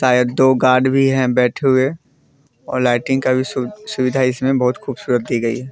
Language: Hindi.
शायद दो गार्ड भी है बैठे हुए। और लाइटिंग का भी सु सुविधा इसमें बहोत ख़ूबसूरत दी गई है।